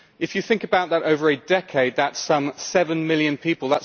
If you think about that over a decade, that is some 7 million people.